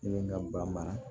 Ne ye n ka ba mara